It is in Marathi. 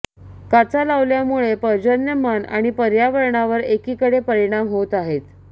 काचा लावल्यामुळे पर्जन्यमान आणि पर्यावरणावर एकीकडे परिणाम होत आहेत